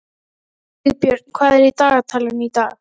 Sigbjörn, hvað er í dagatalinu í dag?